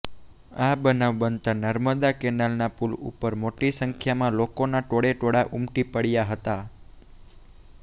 આ બનાવ બનતા નર્મદા કેનાલના પુલ ઉપર મોટી સંખ્યામા લોકોના ટોળે ટોળા ઉમટી પડ્યા હતા